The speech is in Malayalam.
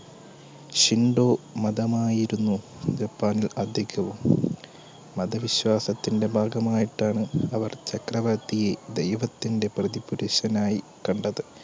മതമായിരുന്നു ജപ്പാൻൽ അധികവും മതവിശ്വാസത്തിന്റെ ഭാഗമായിട്ടാണ് അവർ ചക്രവർത്തി ദൈവത്തിന്റെ പ്രതിപുരുഷനായി കണ്ടത്